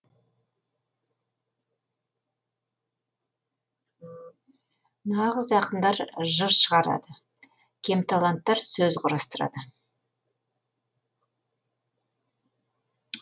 нағыз ақындар жыр шығарады кемталанттар сөз құрастырады